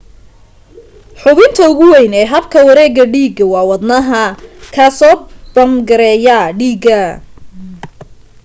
xubinta ugu weyn ee habka wareega dhiiga waa wadnaha kaasoo bamgareeya dhiiga